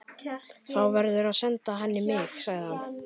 Þá verðurðu að senda henni mig, sagði hann.